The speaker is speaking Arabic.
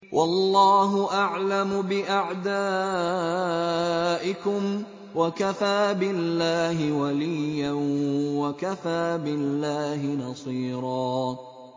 وَاللَّهُ أَعْلَمُ بِأَعْدَائِكُمْ ۚ وَكَفَىٰ بِاللَّهِ وَلِيًّا وَكَفَىٰ بِاللَّهِ نَصِيرًا